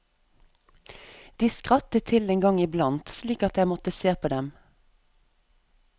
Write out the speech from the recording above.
De skrattet til en gang i blant, slik at jeg måtte se på dem.